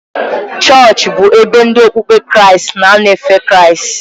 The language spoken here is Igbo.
Chọọchị bụ ebe ndị okpukpe Kraịst na-anọ efe Kraịst.